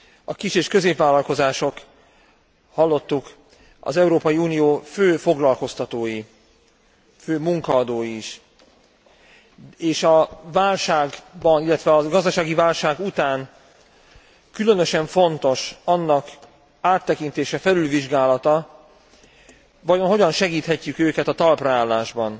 A kis és középvállalkozások hallottuk az Európai Unió fő foglalkoztatói, fő munkaadói is, és a gazdasági válság után különösen fontos annak áttekintése, fölülvizsgálata, vajon hogyan segíthetjük őket a talpraállásban?